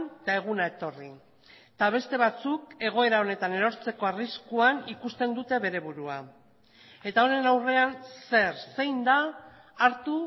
eta eguna etorri eta beste batzuk egoera honetan erortzeko arriskuan ikusten dute bere burua eta honen aurrean zer zein da hartu